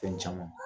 Fɛn caman